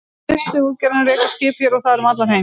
Distuútgerðin rekur skip hér og þar um allan heim.